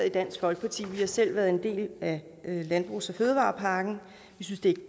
i dansk folkeparti vi har selv været en del af landbrugs og fødevarepakken vi synes det er